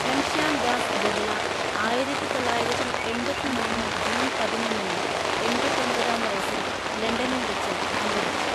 ഘൻശ്യാം ദാസ് ബിർള ആയിരത്തിതൊള്ളായിരത്തിഎണ്‍പത്തിമൂന്ന് ജൂൺ പതിനൊന്നിന് എണ്‍പത്തൊമ്പതാം വയസ്സിൽ ലണ്ടനിൽ വച്ച് അന്തരിച്ചു.